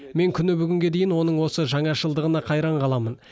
мен күні бүгінге дейін оның осы жаңашылдығына қайран қаламын